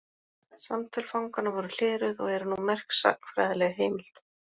Samtöl fanganna voru hleruð og eru nú merk sagnfræðileg heimild.